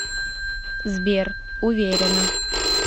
сбер уверена